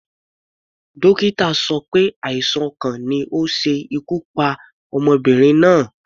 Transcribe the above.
Dókítà sọ pé àìsàn ọkàn ni ó ṣe ikú pa ọmọbìnrin náà.